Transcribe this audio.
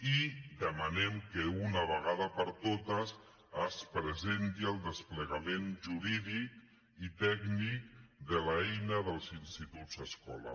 i demanem que d’una vegada per totes es presenti el desplegament jurídic i tècnic de l’eina dels instituts escola